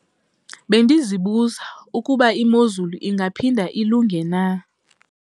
Bendizibuza ukuba imozulu ingaphinda ilunge na?